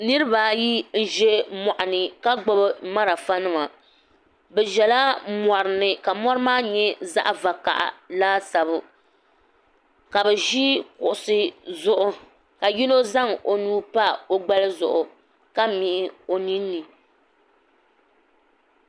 niriba ayi n-za mɔɣuni ka gbubi malfanima bɛ zala mɔri ni ka mɔri maa nyɛ zaɣ' vakaha laasabu ka bɛ ʒi kuɣisi zuɣu ka yino zaŋ o nuu pa o gbali zuɣu ka mihi o nini ni